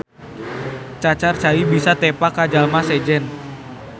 Cacar cai bisa tepa ka jalma sejen.